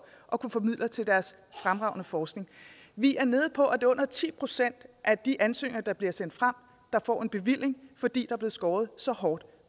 at kunne få midler til deres fremragende forskning vi er nede på at under ti procent af de ansøgninger der bliver sendt frem der får en bevilling fordi er blevet skåret så hårdt